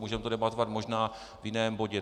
Můžeme to debatovat možná v jiném bodě.